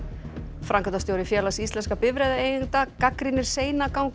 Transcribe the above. framkvæmdastjóri Félags íslenskra bifreiðaeigenda gagnrýnir seinagang og